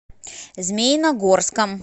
змеиногорском